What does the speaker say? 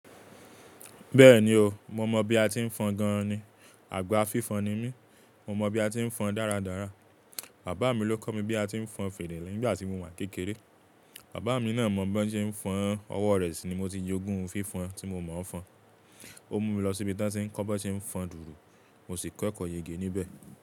Bẹ́ẹ̀ni o, mo mọ bí a ti ń fọn gan ni, àgbà fífọn ni mí, mo mọ bí a ti ń fọn dáradára. Bàbá mi ló kọ́ mi bí a ti ń fọn fèrè nígbà tí mo wà kékeré. Bàbá mi náà mọ bo ṣe ń fọn, ọwọ́ rẹ̀ ṣì ni mo ti jogún fífọn ti mo mọ̀ fọn. Ó mú mi lọ sí ibi tí wọ́n tí ń kọ́ bí wọ́n ṣe ń fọn dùùrù, mo sì kọ́ ẹ̀kọ́ yege níbẹ̀.